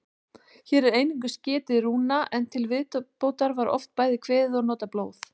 Hér er einungis getið rúna, en til viðbótar var oft bæði kveðið og notað blóð.